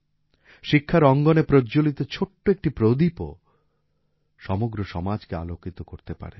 শিক্ষার অঙ্গনে প্রজ্জ্বলিত ছোট্ট একটি প্রদীপও সমগ্র সমাজকে আলোকিত করতে পারে